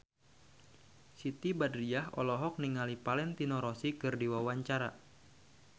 Siti Badriah olohok ningali Valentino Rossi keur diwawancara